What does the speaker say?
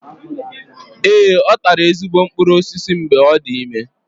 Ee, ọ tara ezigbo mkpụrụ osisi mgbe ọ dị ime.